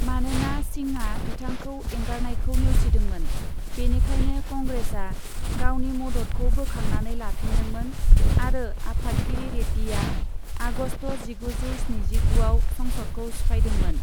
मानोना सिंहआ बिथांखौ एंगारनायखौ नेवसिदोंमोन, बेनिखायनो कंग्रेसआ गावनि मददखौ बोखांनानै लाफिन्दोंमोन आरो आफादगिरि रेड्डीआ आगस्त जिगुजौ स्निजिगुआव संसदखौ सिफायदोंमोन।